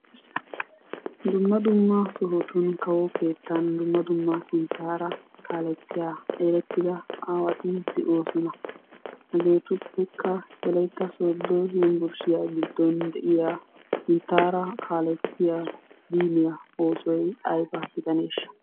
Dumma dumma sohotun kawo keettan dumma dumma sinttaara kaalettiya erettida aawati de'oosona. Hageetuppekka wolaytta sooddo yunbburshiya giddon de'iya sinttaara kaalettiya diiniya oosoy ayba gidaneeshsha?